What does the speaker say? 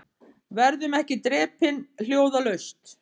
Verðum ekki drepin hljóðalaust